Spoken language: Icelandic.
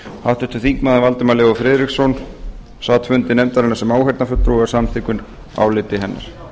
háttvirtur þingmaður valdimar leó friðriksson sat fundi nefndarinnar sem áheyrnarfulltrúi og var samþykkur áliti hennar